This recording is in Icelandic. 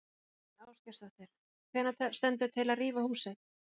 Þóra Kristín Ásgeirsdóttir: Hvenær stendur til að rífa húsið?